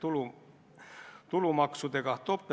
Äkki annate meile ka teada.